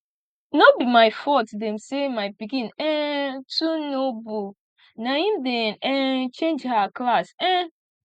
no be my fault dem say my pikin um too know book na im dey um change her class um